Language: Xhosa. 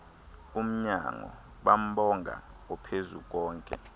umnyango bambonga ophezukonke